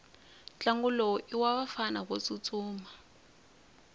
ntlangu lowu iwavafana votsutsuma